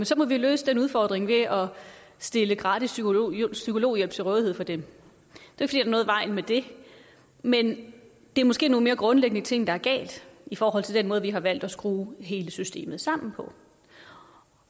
så må løse den udfordring ved at stille gratis psykologhjælp psykologhjælp til rådighed for dem og med det men det er måske nogle mere grundlæggende ting der er galt i forhold til den måde vi har valgt at skrue hele systemet sammen på